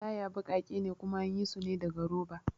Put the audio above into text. Taya baƙake ne kuma anyi sune daga roba